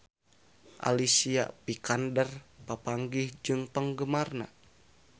Alicia Vikander papanggih jeung penggemarna